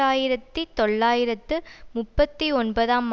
ஆயிரத்தி தொள்ளாயிரத்து முப்பத்தி ஒன்பதாம்